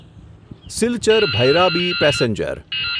Silchar Bhairabi passenger